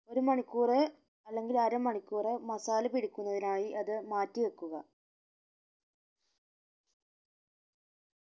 ഒരു മണിക്കൂറ് അല്ലെങ്കിൽ അര മണിക്കൂറ് masala പിടിക്കുന്നതിനായി അത് മാറ്റി വെക്കുക